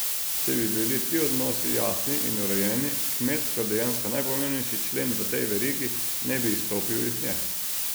Če bi bili ti odnosi jasni in urejeni, kmet kot dejansko najpomembnejši člen v tej verigi, ne bi izstopil iz nje.